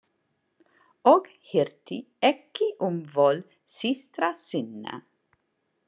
Og hirti ekki um vol systra sinna.